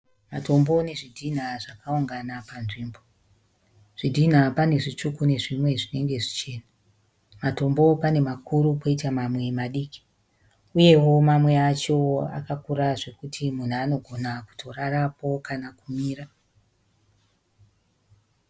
Matombo nezvidhinha zvakaungana panzvimbo. Zvidhinha pane zvitsvuku nezvimwe zvinenge zvichena. Matombo pane makuru poita mamwe madiki. Uyewo mamwe acho akakura zvekuti munhu anogona kutorarapo kana kumira.